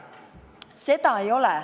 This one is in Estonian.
Seda ei ole.